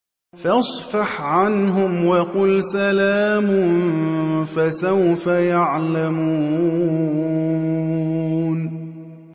فَاصْفَحْ عَنْهُمْ وَقُلْ سَلَامٌ ۚ فَسَوْفَ يَعْلَمُونَ